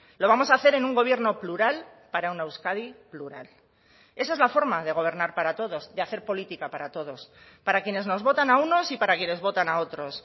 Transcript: lo vamos a hacer en un gobierno plural para una euskadi plural esa es la forma de gobernar para todos de hacer política para todos para quienes nos votan a unos y para quienes votan a otros